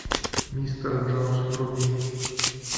мистер джонс вруби